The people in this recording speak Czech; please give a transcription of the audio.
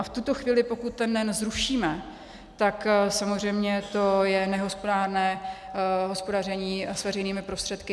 A v tuto chvíli, pokud ten NEN zrušíme, tak samozřejmě to je nehospodárné hospodaření s veřejnými prostředky.